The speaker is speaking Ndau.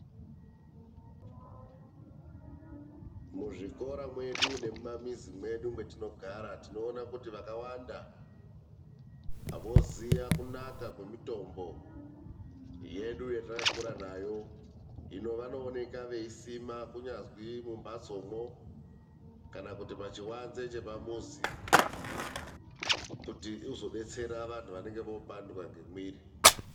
Muzvikora medu nemumamizi medu matogara tinoona kuti vakawanda voziva kunaka kwemitombo yedu yatakakura nayo. Hino vanoonekwa veisima kunyazi mumbatsomo kana kuti pachiwanze chepamuzi kuti uzobetsera vantu vanenge vopandwa ngemwiri.